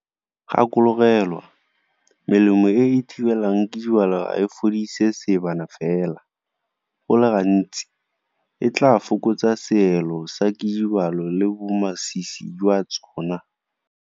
Gakologelwa, melemo e e thibelang kidibalo ga e fodise seebana fela, go le gantsi, e tla fokotsa seelo sa dikidibalo le bomasisi jwa tsona.